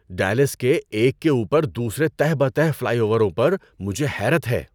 Dallas کے ایک کے اوپر دوسرے تہہ بہ تہہ فلائی اووروں پر مجھے حیرت ہے۔